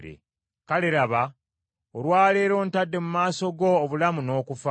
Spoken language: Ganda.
Kale laba, olwa leero ntadde mu maaso go obulamu n’okufa.